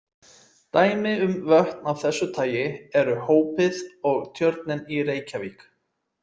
Dæmi um vötn af þessu tagi eru Hópið og Tjörnin í Reykjavík.